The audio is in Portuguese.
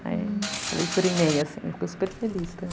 Aí, falei por e-mail, assim, eu fico super feliz também.